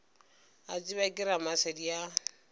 a tsebja ke ramasedi a